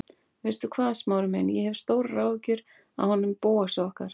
Veistu hvað, Smári minn, ég hef stórar áhyggjur af honum Bóasi okkar.